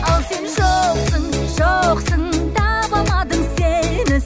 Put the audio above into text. ал сен жоқсың жоқсың таба алмадым сені